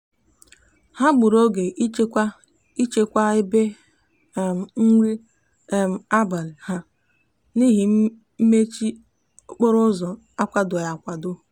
ha gburu oge ịchekwa ịchekwa ebe um nri um abalị ha n'ihi mmechi okporoụzọ akwadoghị akwado.